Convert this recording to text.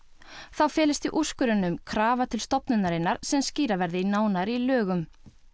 þá felist í úrskurðunum krafa til stofnunarinnar sem skýra verði nánar í lögum